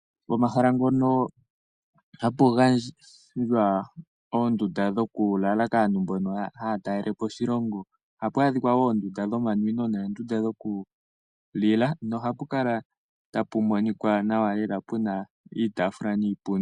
Pomahala ngono hapu gandjwa oondunda dhokulala kaantu mbono haya talelepo oshilongo, ohapu adhikwa wo oondunda dhomanwino noondunda dhokulila nohapu kala tapu monika nawa lela, puna iitaafula niipundi.